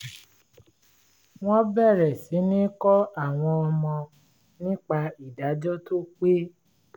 wọ́n bẹ̀rẹ̀ sí ní kọ́ àwọn ọmọ nípa ìdájọ́ tó pé